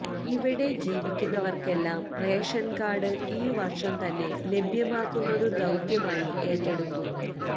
ഇവിടെ ജീവിക്കുന്നവര്ക്കെല്ലാം റേഷന്കാര്ഡ് ഈ വര്ഷം തന്നെ ലഭ്യമാക്കുന്നതു ദൌത്യമായി ഏറ്റെടുക്കും